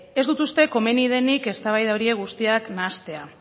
ez dut uste komeni denik eztabaida horiek guztiak nahastea